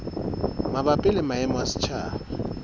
mabapi le maemo a setjhaba